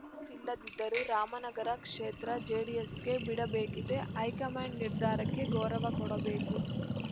ಸ್ಸಿಲ್ಲದಿದ್ದರೂ ರಾಮನಗರ ಕ್ಷೇತ್ರ ಜೆಡಿಎಸ್‌ಗೆ ಬಿಡಬೇಕಿದೆ ಹೈಕಮಾಂಡ್‌ ನಿರ್ಧಾರಕ್ಕೆ ಗೌರವ ಕೊಡಬೇಕು